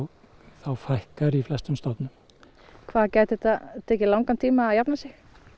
þá fækkar í flestum stofnum hvað gæti þetta tekið langan tíma að jafna sig